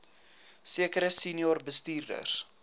sekere senior bestuurders